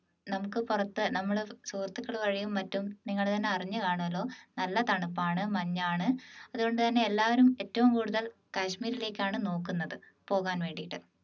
നമുക്ക് പുറത്ത് നമ്മളെ സുഹൃത്തുക്കൾ വഴിയും മറ്റും നിങ്ങൾ തന്നെ അറിഞ്ഞു കാണുല്ലോ നല്ല തണുപ്പാണ് മഞ്ഞാണ് അതുകൊണ്ട് തന്നെ എല്ലാവരും ഏറ്റവും കൂടുതൽ കാശ്മീരിലേക്ക് ആണ് നോക്കുന്നത് പോകാൻ വേണ്ടിയിട്ട്